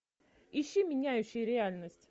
ищи меняющие реальность